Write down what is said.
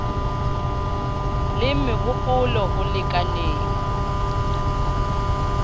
le meho polo ho lekaneng